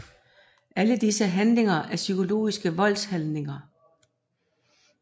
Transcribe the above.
Alle disse handlinger er psykologiske voldshandlinger